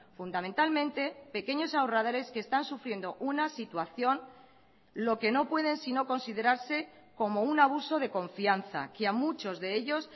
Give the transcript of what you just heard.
fundamentalmente pequeños ahorradores que están sufriendo una situación lo que no pueden sino considerarse como un abuso de confianza que a muchos de ellos